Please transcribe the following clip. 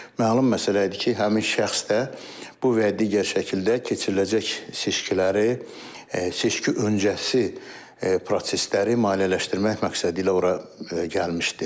Məlum məsələ idi ki, həmin şəxs də bu və digər şəkildə keçiriləcək seçkiləri seçki öncəsi prosesləri maliyyələşdirmək məqsədi ilə ora gəlmişdi.